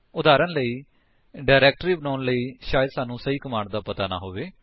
ਉਦਾਹਰਣ ਸਵਰੂਪ ਡਾਇਰੇਕਟਰੀ ਬਣਾਉਣ ਦੇ ਲਈ ਸ਼ਾਇਦ ਸਾਨੂੰ ਸਹੀ ਕਮਾਂਡ ਦਾ ਪਤਾ ਨਾ ਹੋਵੇ